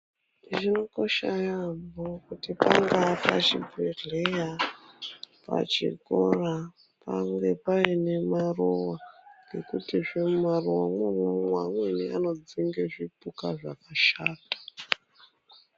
Zvinokosha yaampho kuti pangaa pachibhedhleya pachikoro pange paine maruwa ngekutizve mumaruwamwo imwomwo amweni anodzinge zvipuka zvakashata.